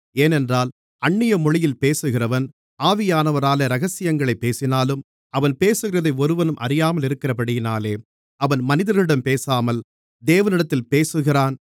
ஏனென்றால் அந்நிய மொழியில் பேசுகிறவன் ஆவியானவராலே இரகசியங்களைப் பேசினாலும் அவன் பேசுகிறதை ஒருவனும் அறியாமலிருக்கிறபடியினாலே அவன் மனிதர்களிடம் பேசாமல் தேவனிடத்தில் பேசுகிறான்